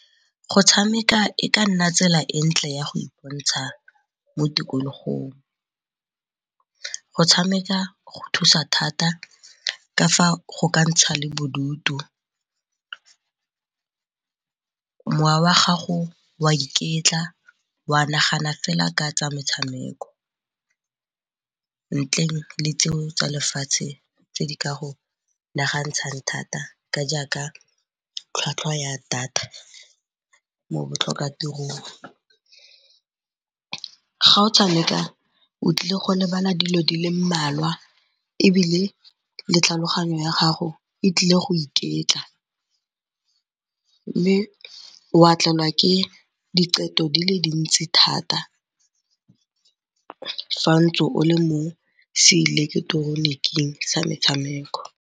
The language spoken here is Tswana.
Go tshameka e ka nna tsela e ntle ya go mo tikologong, go tshameka go thusa thata ka fa go ka ntsha le bodutu. Mowa wa gago wa iketla wa nagana fela ka tsa metshameko, ntleng le tseo tsa lefatshe tse di ka go nagantshang thata ka jaaka tlhwatlhwa ya data mo botlhokatirong. Ga o tshameka o tlile go lebala dilo di le mmalwa ebile le tlhaloganyo ya gago e tlile go iketla. Mme wa tlelwa ke diqeto di le dintsi thata fa ntse o le mo seileketoroniking sa metshameko.